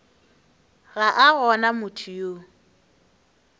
ga a gona motho yo